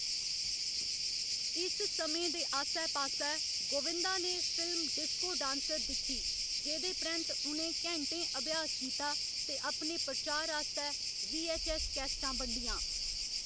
इस समें दे आस्सै पास्सै, गोविंदा ने फिल्म डिस्को डांसर दिक्खी, जेह्‌दे परैंत्त उ'नें घैंटें अभ्यास कीता ते अपने प्रचार आस्तै वीऐच्चऐस्स कैसेटां बंडियां।